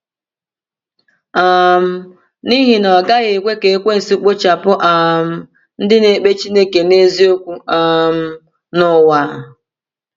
um N’ihi na, ọ gaghị ekwe ka Ekwensu kpochapụ um ndị na-ekpe Chineke n’eziokwu um n’ụwa!